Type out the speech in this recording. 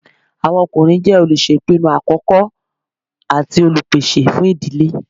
Àwọn ọkùnrin jẹ́ olùṣèpinu àkọ́kọ́ àti Olùpèsè fún ìdílé